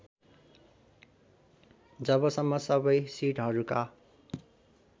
जबसम्म सबै सिटहरूका